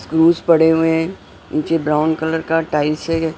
Screws पड़े हुए हैं नीचे ब्राउन कलर का टाइल्स है।